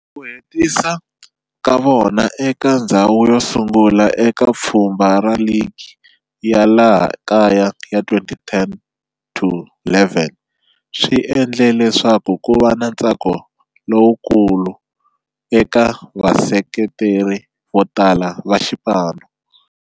Ku hetisa ka vona eka ndzhawu yosungula eka pfhumba ra ligi ya laha kaya ya 2010-11 swi endle leswaku kuva na ntsako lowukulu eka vaseketeri votala va xipano.